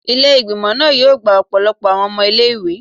Ile-igbimọ naa yoo gba ọpọlọpọ awọn ọmọ ile-iwe